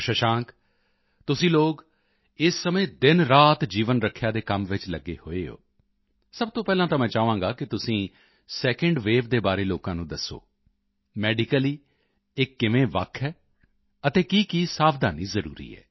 ਸ਼ਸ਼ਾਂਕ ਤੁਸੀਂ ਲੋਕ ਇਸ ਸਮੇਂ ਦਿਨਰਾਤ ਜੀਵਨ ਰੱਖਿਆ ਦੇ ਕੰਮ ਵਿੱਚ ਲੱਗੇ ਹੋਏ ਹੋ ਸਭ ਤੋਂ ਪਹਿਲਾਂ ਤਾਂ ਮੈਂ ਚਾਹਾਂਗਾ ਕਿ ਤੁਸੀਂ ਸੈਕੰਡ ਵੇਵ ਦੇ ਬਾਰੇ ਲੋਕਾਂ ਨੂੰ ਦੱਸੋ ਮੈਡੀਕਲੀ ਇਹ ਕਿਵੇਂ ਵੱਖ ਹੈ ਅਤੇ ਕੀਕੀ ਸਾਵਧਾਨੀ ਜ਼ਰੂਰੀ ਹੈ